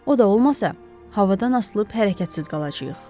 O da olmasa, havadan asılıb hərəkətsiz qalacağıq.